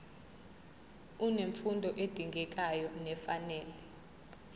unemfundo edingekayo nefanele